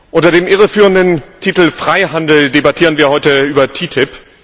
Unter dem irreführenden Titel Freihandel debattieren wir heute über TTIP.